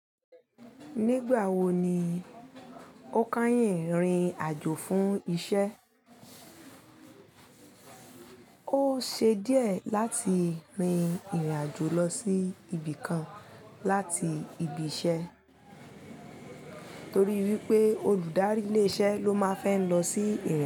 Nígbà wo ni ó kányìn rìn àjò fún iṣẹ́? Ó ṣe díẹ̀ láti rin ìrìn àjò lọ sí ibì kan láti ibi iṣẹ́ torí wípé olùdarí ilé iṣẹ́ ló máa n fẹ́ lọ sí ìrìn.